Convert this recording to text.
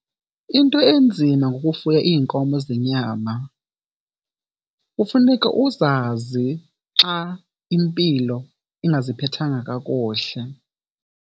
Into enzima ngokufuya iinkomo zenyama kufuneka uzazi xa impilo ingaziphethanga kakuhle.